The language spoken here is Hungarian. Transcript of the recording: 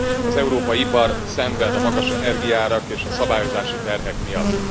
Az európai ipar szenved a magas energiaárak és a szabályozási terhek miatt.